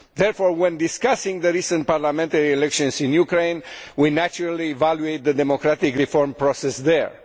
Therefore, when discussing the recent parliamentary elections in Ukraine, we naturally evaluate the democratic reform process there.